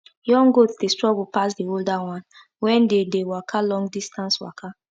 young goat dey struggle pass the older one wen they dey waka long distance waka